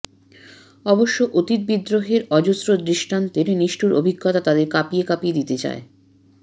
অবশ্য অতীত বিদ্রোহের অজস্র দৃষ্টান্তের নিষ্ঠুর অভিজ্ঞতা তাদের কাঁপিয়ে কাঁপিয়ে দিতে চায়